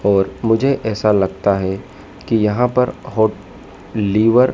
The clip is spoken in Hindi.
और मुझे ऐसा लगता है कि यहां पर होट लीवर --